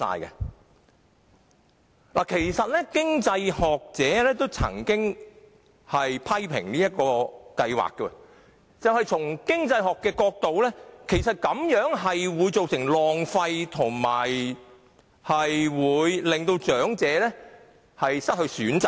有經濟學者曾經批評優惠計劃，因為從經濟學角度而言，優惠計劃會造成浪費，並且令長者失去選擇。